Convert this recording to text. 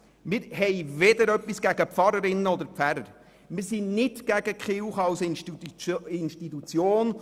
Wir haben weder etwas gegen Pfarrerinnen und Pfarrer noch gegen die Kirche als Institution.